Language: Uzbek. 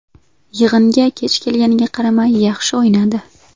Yig‘inga kech kelganiga qaramay yaxshi o‘ynadi.